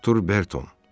Artur Berton.